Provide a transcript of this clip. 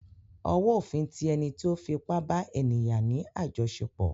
Ọwó òfin ti ẹni tí ó fi ipá bá ènìyà ní àjọṣepọ̀.